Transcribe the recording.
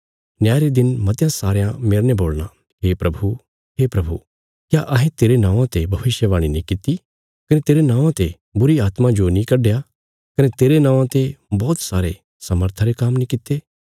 न्याय रे दिन मतयां सारयां मेरने बोलणा हे प्रभु हे प्रभु क्या अहें तेरे नौआं ते भविष्यवाणी नीं किति कने तेरे नौआं ते बुरीआत्मां जो नीं कड्डया कने तेरे नौआं ते बौहत सारे सामर्था रे काम्म नीं कित्ते